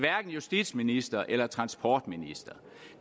justitsministeren eller transportministeren